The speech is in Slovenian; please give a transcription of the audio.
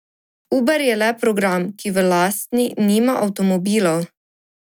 Uber je le program, ki v lastni nima avtomobilov.